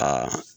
Aa